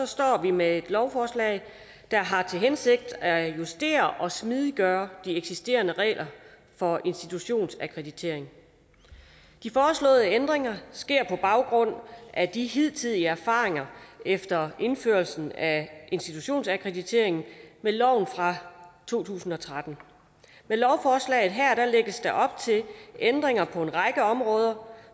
står vi med et lovforslag der har til hensigt at justere og smidiggøre de eksisterende regler for institutionsakkreditering de foreslåede ændringer sker på baggrund af de hidtidige erfaringer efter indførelsen af institutionsakkreditering med loven fra to tusind og tretten med lovforslaget her lægges der op til ændringer på en række områder